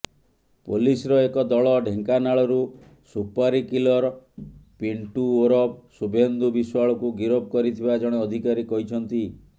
ପୋଲିସର ଏକ ଦଳ ଢେଙ୍କାନାଳରୁ ସୁପାରିକିଲର ପିନ୍ଟୁ ଓରଫ ଶୁଭେନ୍ଦୁ ବିଶ୍ୱାଳକୁ ଗିରଫ କରିଥିବା ଜଣେ ଅଧିକାରୀ କହିଛନ୍ତି